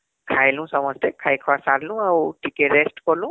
ଖାଇଲୁ ସମସ୍ତେ , ଖାଇ ଖୁଆ ସାରଲୁ ଆଉ ଟିକେ rest କଲୁ